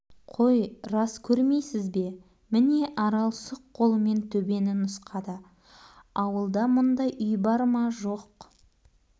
қой рас көрмейсіз бе міне арал сұқ қолымен төбені нұсқады ауылда мұндай үй бар ма жоқ